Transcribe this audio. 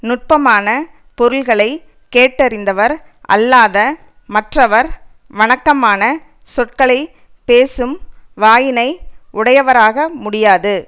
நுட்பமான பொருள்களை கேட்டறிந்தவர் அல்லாத மற்றவர் வணக்கமான சொற்களை பேசும் வாயினை உடையவராக முடியாது